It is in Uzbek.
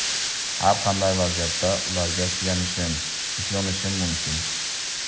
Har qanday vaziyatda ularga suyanishim, ishonishim mumkin.